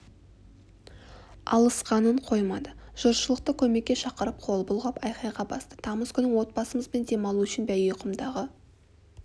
алысқанын қоймады жұртшылықты көмекке шақырып қол бұлғап айқайға басты тамыз күні отбасымызбен демалу үшін бәйгеқұмдағы